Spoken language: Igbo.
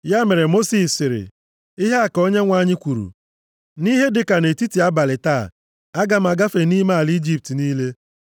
Ya mere, Mosis sịrị, “Ihe a ka Onyenwe anyị kwuru, ‘Nʼihe dịka nʼetiti abalị taa, aga m agafe nʼime ala Ijipt niile.